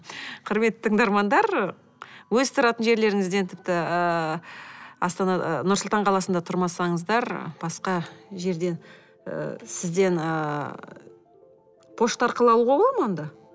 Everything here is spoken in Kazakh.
құрметті тыңдармандар өз тұратын жерлеріңізден тіпті ііі нұр сұлтан қаласында тұрмасаңыздар басқа жерде і сізден ыыы пошта арқылы алуға бола ма онда